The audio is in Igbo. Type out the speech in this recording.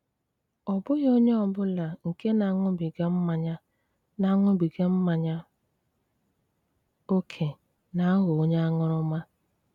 Ọ́ bụ́ghị ònyé ọ́ bụlá nke ná-aṅụ́bígá mmányá ná-aṅụ́bígá mmányá ókè ná-àghọ́ ònyé aṅụ́rụ́mà.